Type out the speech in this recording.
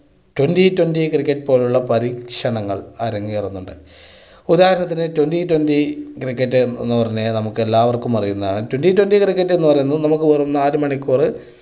twenty twenty cricket പോലുള്ള പരീക്ഷണങ്ങൾ അരങ്ങേറുന്നുണ്ട്. ഉദാഹരണത്തിന് twenty twenty cricket എന്ന് പറഞ്ഞാൽ നമ്മൾക്ക് എല്ലാവർക്കും അറിയുന്നതാണ്, twenty twenty cricket എന്ന് പറയുന്നത് നമുക്ക് വെറും നാല് മണിക്കൂറ്